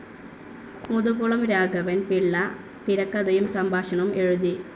മുതുകുളം രാഘവൻ പിള്ള തിരകഥയും സംഭാഷണവും എഴുതി.